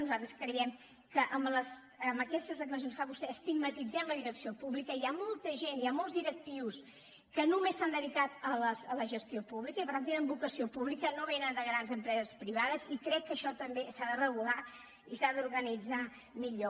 nosaltres creiem que amb aquestes declaracions que fa vostè estigmatitzem la direcció pública hi ha molta gent hi ha molts directius que només s’han dedicat a la gestió pública i per tant tenen vocació pública no vénen de grans empreses privades i crec que això tam·bé s’ha de regular i s’ha d’organitzar millor